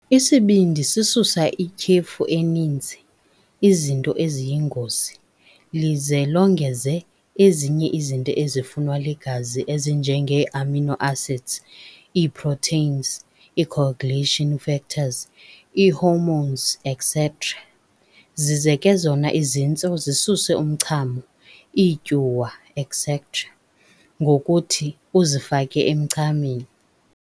Isibindi sisusa ityhefu eninzi, izinto eziyingozi, lize longeze ezinye izinto ezifunwa ligazi ezinjengeeamino acids, iiproteins, iicoagulation factors, iihormones, etcetera.. Zize ke zona izintso zisuse umchamo, iityuwa, etcetera. ngokuthi uzifake emchameni.